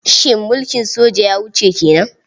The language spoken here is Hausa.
Shin mulkin soja ya wuce ke nan?